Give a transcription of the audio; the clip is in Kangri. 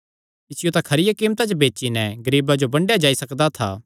इसियो तां खरिया कीमता च बेची नैं गरीबां जो बंडेया जाई सकदा था